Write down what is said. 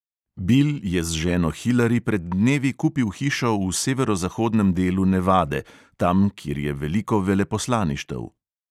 Bill je z ženo hillari pred dnevi kupil hišo v severozahodnem delu nevade, tam, kjer je veliko veleposlaništev.